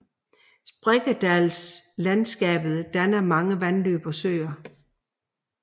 Sprækkedalslandskapet danner mange vandløb og søer